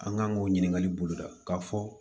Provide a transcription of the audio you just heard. An kan k'o ɲininkali boloda k'a fɔ